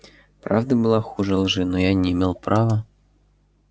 правда была хуже лжи но я не имел права на ложь